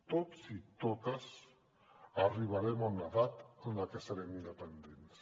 tots i totes arribarem a una edat en què serem dependents